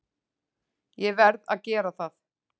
Ég verð að gera það.